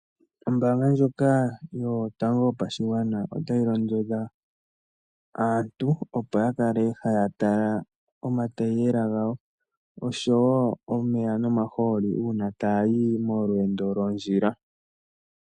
Ombaanga ndjoka yotango yopashigwana, ota yi londodha aantu opo ya kale haya tala omataiyela gawo, osho woo omeya nomahooli, uuna taayi molweendo lwondjila.